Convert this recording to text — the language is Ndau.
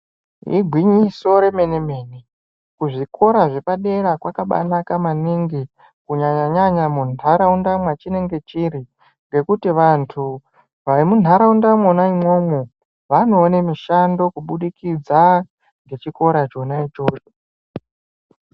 Igwinyiso remene mene kuzvikora zvepadera kwakabaanaka maningi kunyanya nyanya muntaraunda mwachinenge chiri ngekuti vantu vemuntaraunda mwona imwomwo vanoone mishando kubudikidza ngechikora chona ichocho.